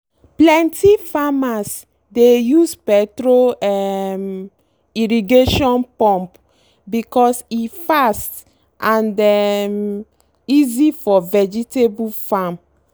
plenty farmers dey use petrol um irrigation pump because e fast and um easy for vegetable farm.